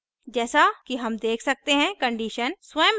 जैसा कि हम देख सकते हैं कि condition स्वयं ही अस्पष्ट है